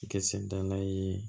Kɛ sen dala ye